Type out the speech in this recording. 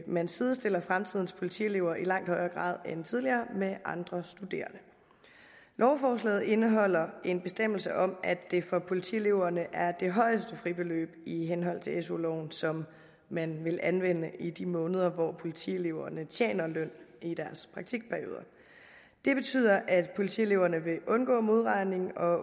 man sidestiller fremtidens politielever i langt højere grad end tidligere med andre studerende lovforslaget indeholder en bestemmelse om at det for politieleverne er det højeste fribeløb i henhold til su loven som man vil anvende i de måneder hvor politieleverne tjener løn i deres praktikperioder det betyder at politieleverne vil undgå modregning og